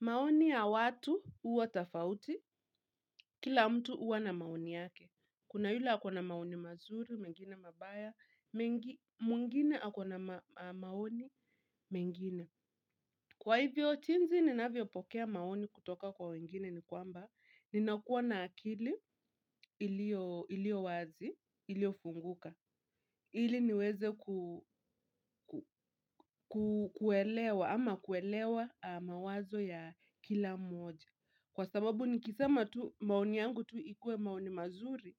Maoni ya watu huwa tofauti, kila mtu huwa na maoni yake. Kuna yule ako na maoni mazuri, mwengine mabaya, mwengine ako na maoni mengine. Kwa hivyo, jinsi ninavyopokea maoni kutoka kwa wengine ni kwamba, ninakua na akili iliyo wazi, iliofunguka. Ili niweze kuelewa ama kuelewa mawazo ya kila moja. Kwa sababu nikisema tu maoni yangu tu ikue maoni mazuri,